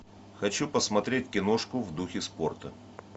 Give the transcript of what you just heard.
хочу посмотреть киношку в духе спорта